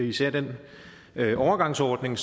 især den overgangsordning